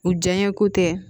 U janya ko tɛ